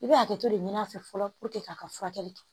I bɛ hakɛto de ɲini a fɛ fɔlɔ k'a ka furakɛli kɛ